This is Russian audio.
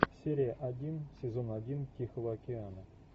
серия один сезон один тихого океана